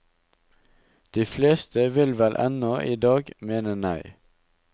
De fleste vil vel ennå idag mene nei.